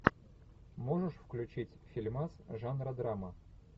можешь включить фильмас жанра драма